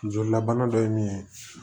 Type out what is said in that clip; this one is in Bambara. Jolilabana dɔ ye min ye